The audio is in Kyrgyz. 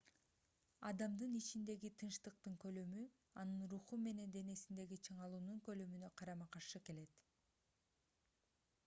адамдын ичиндеги тынчтыктын көлөмү анын руху менен денесиндеги чыңалуунун көлөмүнө карама-каршы келет